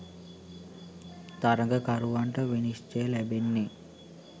තරගකරුවන්ට විනිශ්චය ලැබෙන්නේ